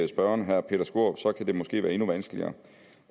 spørgeren herre peter skaarup så kan det måske være endnu vanskeligere